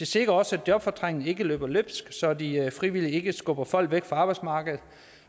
sikrer også at jobfortrængningen ikke løber løbsk så de frivillige ikke skubber folk væk fra arbejdsmarkedet